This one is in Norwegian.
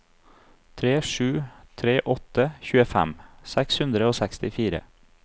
tre sju tre åtte tjuefem seks hundre og sekstifire